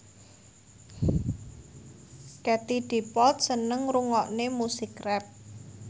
Katie Dippold seneng ngrungokne musik rap